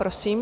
Prosím.